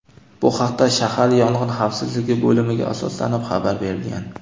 Bu haqda shahar Yong‘in xavfsizligi bo‘limiga asoslanib xabar berilgan.